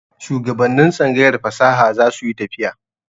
Shuwagabannin tsangayar fasaha za su yi tafiya.